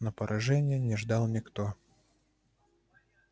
но поражения не ждал никто